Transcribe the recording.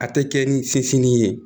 A tɛ kɛ ni fitinin ye